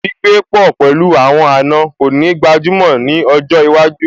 Gbígbé pọ̀ pẹ̀lú àwọn àna kò ní gbajúmọ̀ ní ọjọ́ iwájú